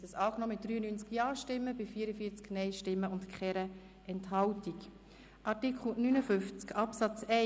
Sie haben den Antrag mit 93 Ja- gegen 44 Nein-Stimmen bei 0 Enthaltungen angenommen.